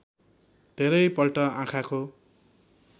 धेरै पल्ट आँखाको